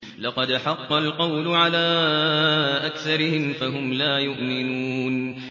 لَقَدْ حَقَّ الْقَوْلُ عَلَىٰ أَكْثَرِهِمْ فَهُمْ لَا يُؤْمِنُونَ